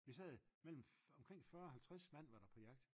vi sad omkring 40-50 var der på jagt